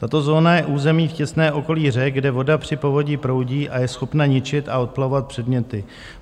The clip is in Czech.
Tato zóna je území v těsném okolí řek, kde voda při povodni proudí a je schopna ničit a odplavovat předměty.